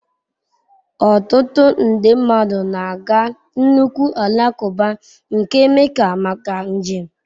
Ọtụtụ nde mmadụ na-aga nnukwu alakụba nke Mecca maka njem.